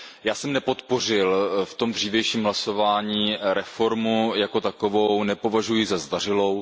Já jsem zprávu nepodpořil v tom dřívějším hlasování, reformu jako takovou nepovažuji za zdařilou.